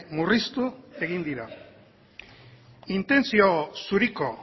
murriztu egin dira intentzio zuriko